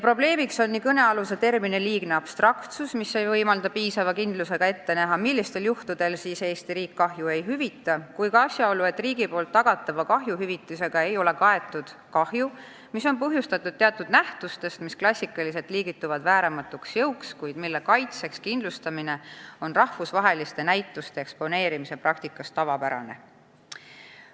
Probleem on nii kõnealuse termini liigne abstraktsus, mis ei võimalda piisava kindlusega ette näha, millistel juhtudel siis Eesti riik kahju ei hüvita, kui ka asjaolu, et riigi poolt tagatava kahjuhüvitisega ei ole kaetud kahju, mis on põhjustatud teatud nähtustest, mis klassikaliselt liigituvad vääramatuks jõuks, kuid mille kaitseks kindlustamine on rahvusvaheliste näituste eksponeerimise praktikas tavapärane.